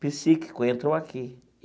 Psíquico entrou aqui.